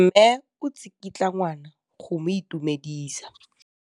Mme o tsikitla ngwana go mo itumedisa.